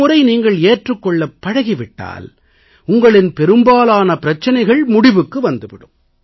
ஒருமுறை நீங்கள் ஏற்றுக் கொள்ளப் பழகி விட்டால் உங்களின் பெரும்பாலான பிரச்சனைகள் முடிவுக்கு வந்து விடும்